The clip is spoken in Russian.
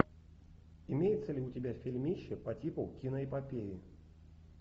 имеется ли у тебя фильмище по типу киноэпопеи